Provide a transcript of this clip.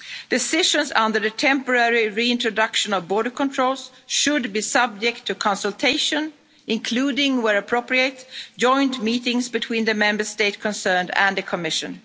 of events. Decisions on the temporary reintroduction of border controls should be subject to consultation, including, where appropriate, joint meetings between the Member State concerned and the